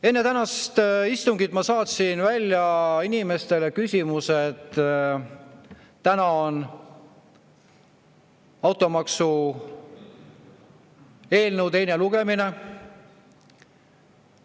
Enne tänast istungit ma saatsin välja inimestele küsimuse: "Täna on automaksu eelnõu teine lugemine.